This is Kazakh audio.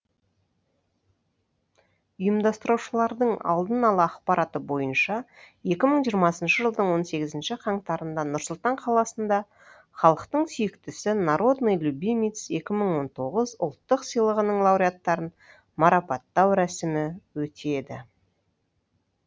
ұйымдастырушылардың алдын ала ақпараты бойынша екі мың жиырмасыншы жылдың он сегізінші қаңтарында нұр сұлтан қаласында халықтың сүйіктісі народный любимец екі мың он тоғыз ұлттық сыйлығының лауреаттарын марапаттау рәсімі өтеді